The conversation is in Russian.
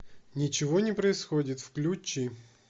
ничего не происходит включи